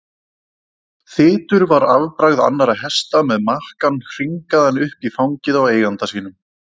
Þytur var afbragð annarra hesta með makkann hringaðan upp í fangið á eiganda sínum.